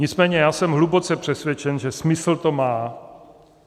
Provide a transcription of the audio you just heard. Nicméně já jsem hluboce přesvědčen, že smysl to má.